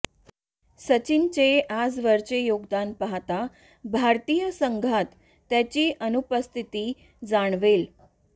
सचिनचे आजवरचे योगदान पाहता भारतीय संघात त्याची अनुपस्थिती जाणवेल